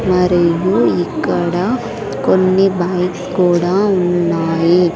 మరియు ఇక్కడ కొన్ని బైక్స్ కూడా ఉన్నాయి.